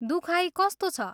दुखाइ कस्तो छ?